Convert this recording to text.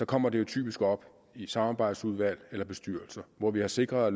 kommer de typisk op i samarbejdsudvalg eller bestyrelser hvor vi har sikret